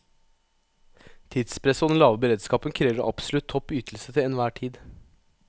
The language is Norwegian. Tidspresset og den lave beredskapen krever absolutt topp ytelse til enhver tid.